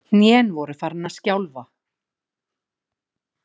Hnén voru farin að skjálfa.